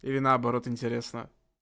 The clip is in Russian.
или наоборот интересно